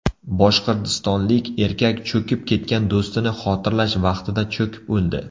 Boshqirdistonlik erkak cho‘kib ketgan do‘stini xotirlash vaqtida cho‘kib o‘ldi.